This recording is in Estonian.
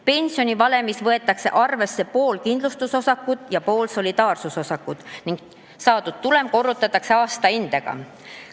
Pensionivalemis võetakse arvesse pool kindlustusosakut ja pool solidaarsusosakut ning saadud tulem korrutatakse aastahindega.